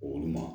Olu ma